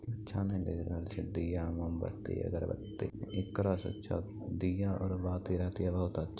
अच्छा नहीं लग रहल छे दिया और मोमबत्ती अगरबत्ती एकरा से अच्छा दिया और बाती रहती और बहुत अ --